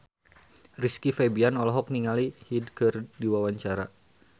Rizky Febian olohok ningali Hyde keur diwawancara